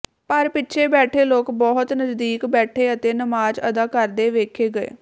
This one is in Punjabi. ਪਰ ਪਿੱਛੇ ਬੈਠੇ ਲੋਕ ਬਹੁਤ ਨਜ਼ਦੀਕ ਬੈਠੇ ਅਤੇ ਨਮਾਜ਼ ਅਦਾ ਕਰਦੇ ਵੇਖੇ ਗਏ